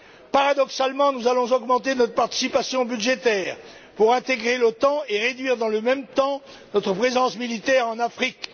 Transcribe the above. Paradoxalement, nous allons augmenter notre participation budgétaire pour réintégrer l'OTAN et réduire, dans le même temps, notre présence militaire en Afrique.